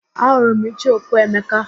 Ahụrụ m icheoku Emeka